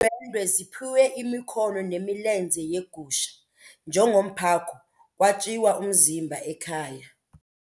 Iindwendwe ziphiwe imikhono nemilenze yegusha njengomphako kwatyiwa umzimba ekhaya.